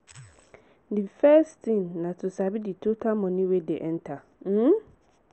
the first thing na to sabi di total money wey dey enter um